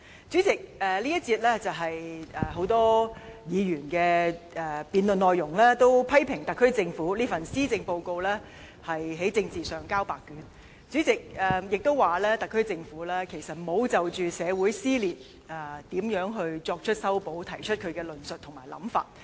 主席，這一個辯論環節，很多議員也批評特區政府這份施政報告在政治上"交白卷"，也批評特區政府沒有就如何修補社會撕裂提出論述和想法。